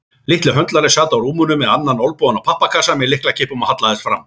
Litli höndlarinn sat á rúminu með annan olnbogann á pappakassa með lyklakippum og hallaðist fram.